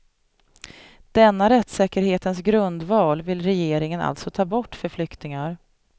Denna rättssäkerhetens grundval vill regeringen alltså ta bort för flyktingar.